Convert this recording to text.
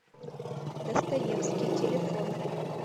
достоевский телефон